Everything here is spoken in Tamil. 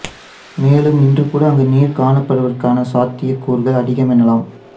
மேலும் இன்று கூட அங்கு நீர் காணப்படுவதற்கான சாத்தியக் கூறுகள் அதிகம் எனலாம்